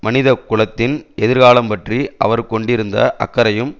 மனித குலத்தின் எதிர்காலம் பற்றி அவர் கொண்டிருந்த அக்கறையும்